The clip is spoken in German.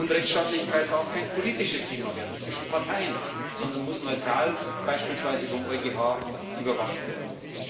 Und Rechtsstaatlichkeit darf kein politisches Thema zwischen Parteien werden, sondern muss neutral, beispielsweise vom EuGH, überwacht werden.